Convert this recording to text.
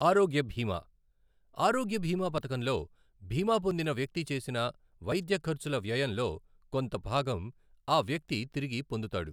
ఆరోగ్యభీమా, ఆరోగ్య భీమా పథకంలో భీమా పొందిన వ్యక్తి చేసిన వైద్య ఖర్చుల వ్యయంలో కొంత భాగం ఆ వ్యక్తి తిరిగి పొందుతాడు.